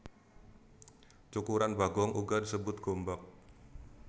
Cukuran bagong uga disebut gombak